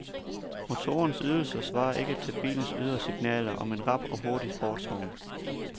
Motorens ydelser svarede ikke til bilens ydre signaler om en rap og hurtig sportsvogn.